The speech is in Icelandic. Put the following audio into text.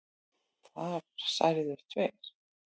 Þar særðust tveir